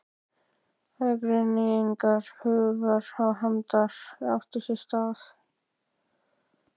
Aðgreining hugar og handar átti sér stað.